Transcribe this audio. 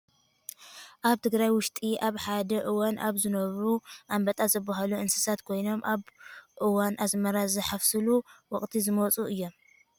ኣብ ትግራይ ውሽጢ ኣብ ሓደ እዋን ኣብ ዝነበሩ ኣንበጣ ዝብሃሉ ንብሳት ኮይኖም ኣብ እዋን ኣዝመራ ዝሕፈሰሉ ወቅቲ ዝመፅኡ እዮም ።